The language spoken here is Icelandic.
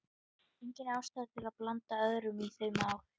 Engin ástæða til að blanda öðrum í þau mál.